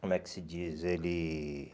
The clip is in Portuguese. Como é que se diz? Ele